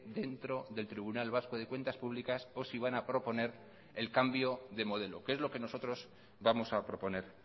dentro del tribunal vasco de cuentas públicas o si van a proponer el cambio de modelo que es lo que nosotros vamos a proponer